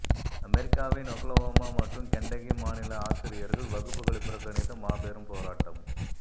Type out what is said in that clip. அமெரிக்காவின் ஒக்லஹோமா மற்றும் கென்டகி மாநில ஆசிரியர்கள் வகுப்புகளை புறக்கணித்து மாபெரும் போராட்டம்